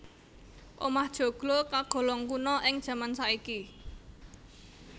Omah joglo kagolong kuna ing jaman saiki